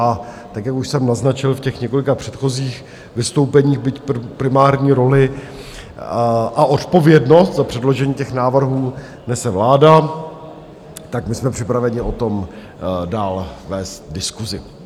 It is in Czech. A tak jak už jsem naznačil v těch několika předchozích vystoupeních, byť primární roli a odpovědnost za předložení těch návrhů nese vláda, tak my jsme připraveni o tom dál vést diskusi.